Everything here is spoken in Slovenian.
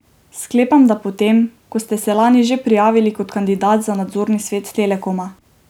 Sklepam, da po tem, ko ste se lani že prijavili kot kandidat za nadzorni svet Telekoma?